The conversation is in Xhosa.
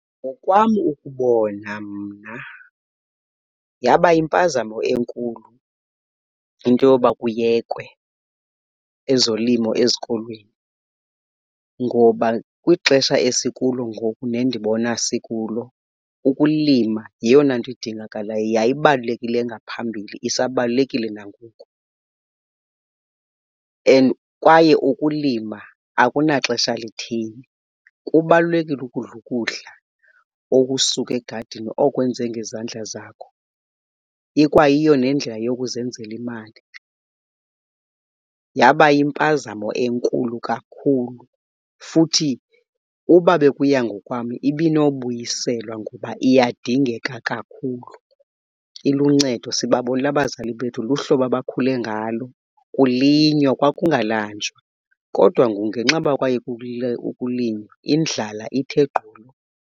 Ngokwam ukubona mna yaba yimpazamo enkulu into yoba kuyekwe ezolimo ezikolweni ngoba kwixesha esikulo ngoku nendibona sikulo, ukulima yeyona nto idingakalayo, yayibalulekile ngaphambili isibalulekile nangoku, and kwaye ukulima akunaxesha litheni. Kubalulekile ukudla ukudla okusuka egadini okwenze ngezandla zakho, ikwayiyo nendlela yokuzenzela imali. Yaba yimpazamo enkulu kakhulu futhi uba bekuya ngokwam ibinobuyiselwa kuba iyadingeka kakhulu. Iluncedo sibabonile abazali bethu luhlobo abakhule ngalo kulinywa, kwakungalanjwa kodwa ngoku ngenxa yoba kwayekwa ukulinywa indlala ithe gqolo.